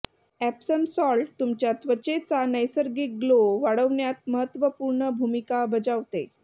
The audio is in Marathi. एप्सम सॉल्ट तुमच्या त्वचेचा नैसर्गिक ग्लो वाढवण्यात महत्त्वपूर्ण भूमिका बजावते